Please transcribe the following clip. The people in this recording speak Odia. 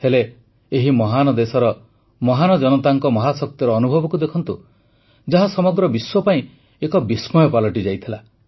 ହେଲେ ଏହି ମହାନ ଦେଶର ମହାନ ଜନତାଙ୍କ ମହାଶକ୍ତିର ଅନୁଭବକୁ ଦେଖନ୍ତୁ ଯାହା ସମଗ୍ର ବିଶ୍ୱ ପାଇଁ ଏକ ବିସ୍ମୟ ପାଲଟିଯାଇଥିଲା